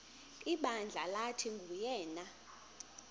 ibandla lathi nguyena